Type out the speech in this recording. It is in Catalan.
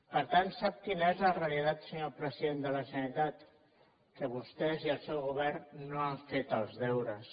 per tant sap quina és la realitat senyor president de la generalitat que vostès i el seu govern no han fet els deures